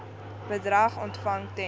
bedrag ontvang ten